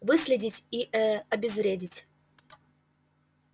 выследить и э обезвредить